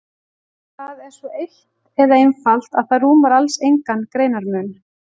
Það er svo eitt eða einfalt að það rúmar alls engan greinarmun.